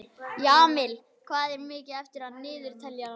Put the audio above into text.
Jamil, hvað er mikið eftir af niðurteljaranum?